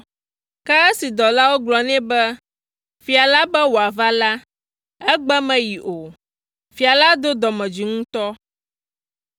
Ke esi dɔlawo gblɔ nɛ be fia la be wòava la, egbe meyi o. Fia la do dɔmedzoe ŋutɔ.